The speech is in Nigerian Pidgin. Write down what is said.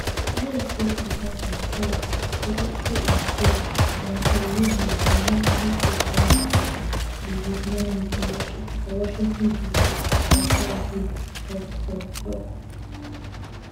us state department said Secretary of State marco rubio go meet uk foreign secretary david lammy for for washington dc on thursday for tok tok